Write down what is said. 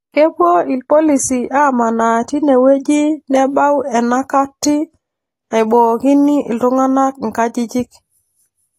Kepuo irpolisi amanaa tinewueji tenebau enakati naibookini iltung'anak inkajijik